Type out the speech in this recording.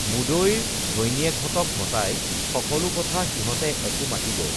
মুদৈৰ ঘৈণীয়েকহঁতক মতাই সকলো কথা সিহঁতে একো মাতিব